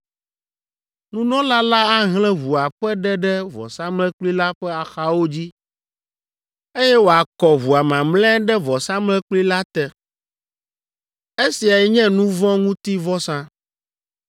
Nunɔla la ahlẽ ʋua ƒe ɖe ɖe vɔsamlekpui la ƒe axawo dzi, eye wòakɔ ʋua mamlɛa ɖe vɔsamlekpui la te. Esiae nye nu vɔ̃ ŋuti vɔsa.